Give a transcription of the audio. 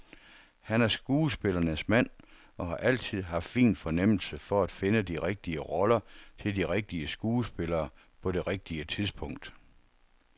Han er skuespillernes mand og har altid haft fin fornemmelse for at finde de rigtige roller til de rigtige skuespillere på det rigtige tidspunkt.